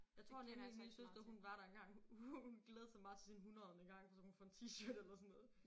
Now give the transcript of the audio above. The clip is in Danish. Jeg tror nemlig min søster hun var der engang hun hun glædede sig meget til sin hundredede gang for så kunne hun få en T-shirt eller sådan noget